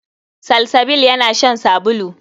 Salsabil yana shan sabulu.